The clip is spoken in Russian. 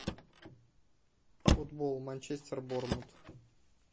футбол манчестер борнмут